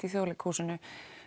í Þjóðleikhúsinu